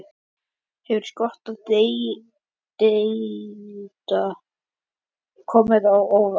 Hefur stökkið milli deilda komið á óvart?